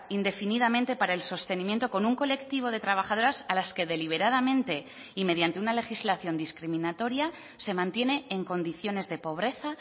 indefinidamente para el sostenimiento con un colectivo de trabajadoras a las que deliberadamente y mediante una legislación discriminatoria se mantiene en condiciones de pobreza